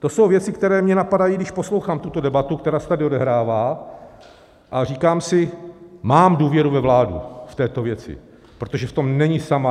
To jsou věci, které mě napadají, když poslouchám tuto debatu, která se tady odehrává, a říkám si, mám důvěru ve vládu v této věci, protože v tom není sama.